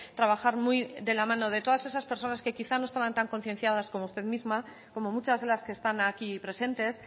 trabajar muy de la mano de todas esas personas que quizás no estaban tan concienciadas como usted misma como muchas de las que están aquí presentes